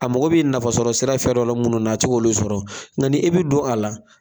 A mago b'i nafasɔrɔ sira fɛrɛ dɔ minnu na a tiga olu sɔrɔ nka n'i bi don a la